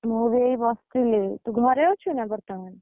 ମୁଁ ବି ଏଇ ବସ, ଥିଲି ତୁ ଘରେ ଅଛୁ ନା ବର୍ତମାନ?